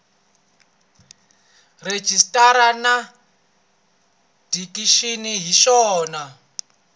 rejistara na dikixini hi swona